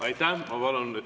Aitäh teile!